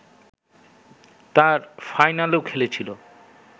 তার ফাইনালেও খেলেছিল